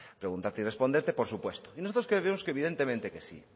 preguntarte y responderte por supuesto y nosotros creemos que evidentemente que sí